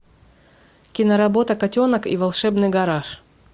киноработа котенок и волшебный гараж